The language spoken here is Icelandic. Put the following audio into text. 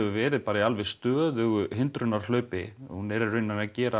verið bara í alveg stöðugu hindrunarhlaupi hún er í raun að gera